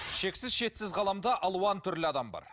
шексіз шетсіз ғаламда алуан түрлі адам бар